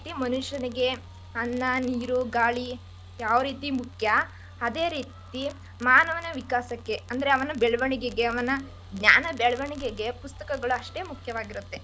ಮನಷ್ಯನಿಗೆ ಅನ್ನ ನೀರು ಗಾಳಿ, ಯಾವ ರೀತಿ ಮುಖ್ಯ ಅದೇ ರೀತಿ ಮಾನವನ ವಿಕಾಸಕ್ಕೆ ಅಂದ್ರೆ ಅವನ ಬೆಳೆವಣಿಗೆಗೆ ಅವನ ಜ್ಞಾನ ಬೆಳ್ವಣಿಗೆಗೆ ಪುಸ್ತಕಗಳು ಅಷ್ಟೇ ಮುಖ್ಯವಾಗಿರತ್ತೆ.